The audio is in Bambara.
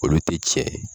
Olu tɛ tiɲɛ